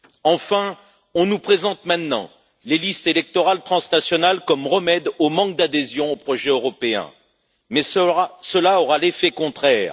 Enfin, on nous présente maintenant les listes électorales transnationales comme un remède au manque d'adhésion au projet européen, mais cela aura l'effet contraire.